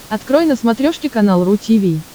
открой на смотрешке канал ру ти ви